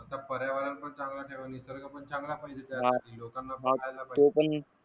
पर्यावरण पण चांगलं ठेवा निसर्ग पण चांगला पाहिजे